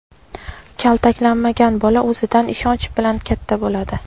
Kaltaklanmagan bola o‘zidan ishonch bilan katta bo‘ladi.